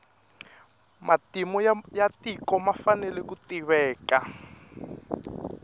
matimu ya tiko ma fanele ku tiveka